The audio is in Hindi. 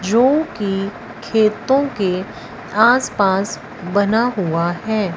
जो की खेतों के आस पास बना हुआ है।